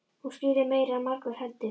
Hún skilur meira en margur heldur.